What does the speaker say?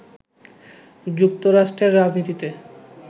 যুক্তরাষ্ট্রের রাজনীতিতে